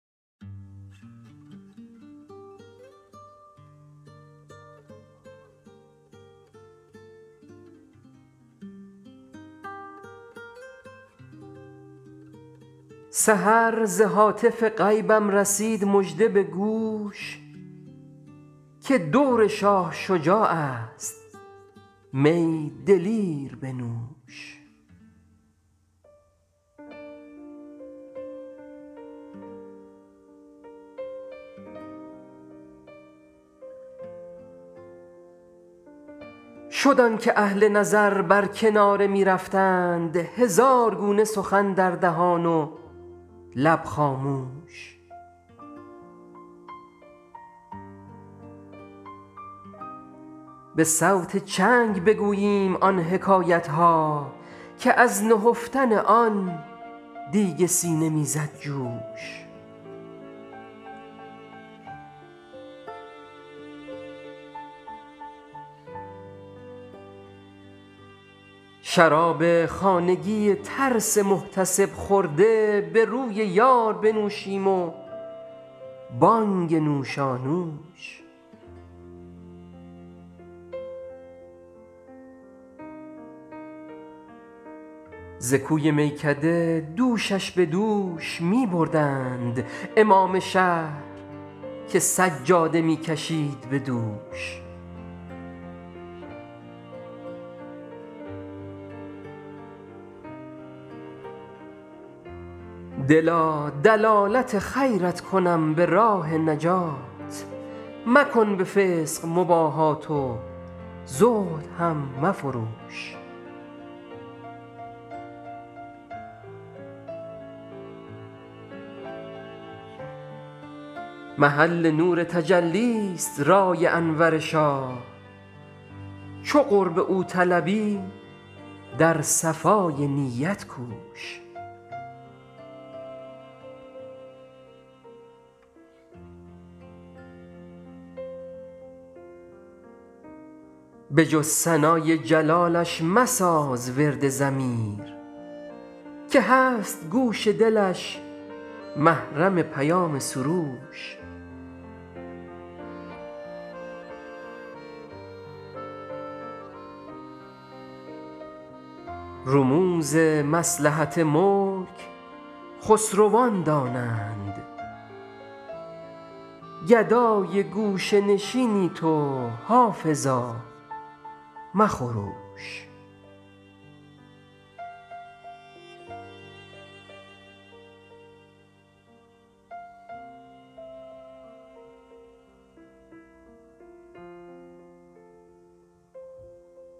سحر ز هاتف غیبم رسید مژده به گوش که دور شاه شجاع است می دلیر بنوش شد آن که اهل نظر بر کناره می رفتند هزار گونه سخن در دهان و لب خاموش به صوت چنگ بگوییم آن حکایت ها که از نهفتن آن دیگ سینه می زد جوش شراب خانگی ترس محتسب خورده به روی یار بنوشیم و بانگ نوشانوش ز کوی میکده دوشش به دوش می بردند امام شهر که سجاده می کشید به دوش دلا دلالت خیرت کنم به راه نجات مکن به فسق مباهات و زهد هم مفروش محل نور تجلی ست رای انور شاه چو قرب او طلبی در صفای نیت کوش به جز ثنای جلالش مساز ورد ضمیر که هست گوش دلش محرم پیام سروش رموز مصلحت ملک خسروان دانند گدای گوشه نشینی تو حافظا مخروش